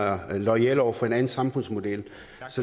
er loyale over for en anden samfundsmodel